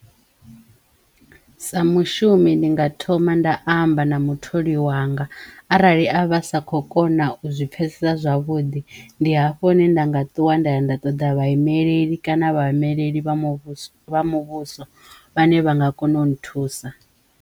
Sa mushumi ndi nga thoma nda amba na mutholi wanga arali a vha sa kho kona u zwi pfhesesa zwavhuḓi ndi hafho hune nda nga ṱuwa nda ya nda ṱoḓa vhaimeleli kana vhaimeleli vha muvhuso wa muvhuso vhane vha nga kona u nthusa.